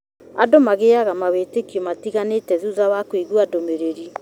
Andũ magĩaga mawĩtikio matĩganĩte thutha wa kũigua ndũmĩrĩri